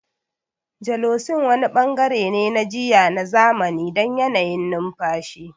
Gelocin wani bangare ne na jiyya na zamani don yanayin numfashi.